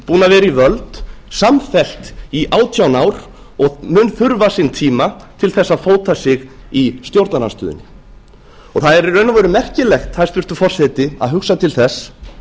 við völd samfellt í átján ár og mun þurfa sinn tíma til þess að fóta sig í stjórnarandstöðunni það er í raun og veru merkilegt hæstvirtur forseti að hugsa til þess